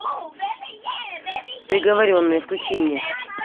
приговоренный включи мне